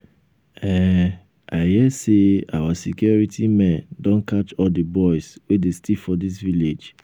i um hear say our security men don catch all the boys wey dey steal for dis village